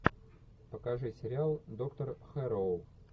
покажи сериал доктор хэрроу